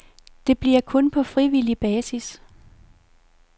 Det bliver kun på frivillig basis.